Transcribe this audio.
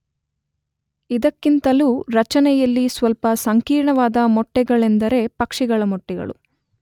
ಇದಕ್ಕಿಂತಲೂ ರಚನೆಯಲ್ಲಿ ಸ್ವಲ್ಪ ಸಂಕೀರ್ಣವಾದ ಮೊಟ್ಟೆಗಳೆಂದರೆ ಪಕ್ಷಿಗಳ ಮೊಟ್ಟೆಗಳು.